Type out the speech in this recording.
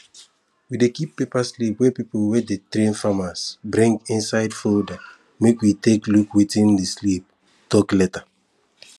we dey keep paper slips wey people wey dey train farmers bring inside folder make we take look wetin di slip tok later